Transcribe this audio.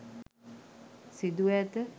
සිදුව ඇත